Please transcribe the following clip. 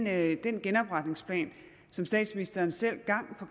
at den genopretningsplan som statsministeren selv gang på